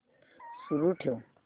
सुरू ठेव